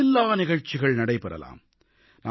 எண்ணில்லா நிகழ்ச்சிகள் நடைபெறலாம்